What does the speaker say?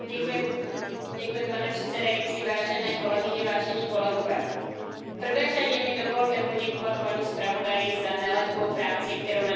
Pane předsedající, vážené kolegyně, vážení kolegové, v prvé řadě mi dovolte poděkovat panu zpravodaji za nelehkou práci, kterou na dokumentu odvedl.